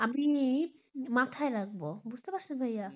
আমি মাথায় রাখব, বুঝতে পারছেন, ভাইয়া,